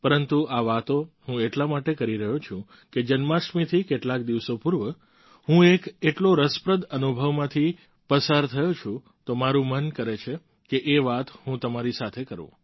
પરંતુ આ વાતો હું એટલા માટે કરી રહ્યો છું કે જન્માષ્ટમીથી કેટલાક દિવસો પૂર્વ હું એક એટલો રસપ્રદ અનુભવમાંથી પસાર થયો છું તો મારું મન કરે છે કે એ વાત હું તમારી સાથે કરું